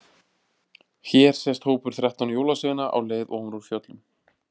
Hér sést hópur þrettán jólasveina á leið ofan úr fjöllum.